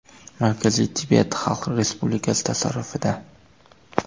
Markaziy Tibet Xitoy Xalq Respublikasi tasarrufida.